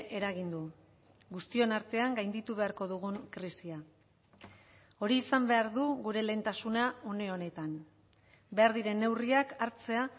eragin du guztion artean gainditu beharko dugun krisia hori izan behar du gure lehentasuna une honetan behar diren neurriak hartzea